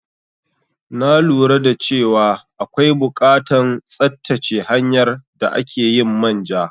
Na lura dace wa akwai bukatan tsattace hanyar da akeyin manja